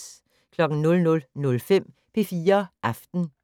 00:05: P4 Aften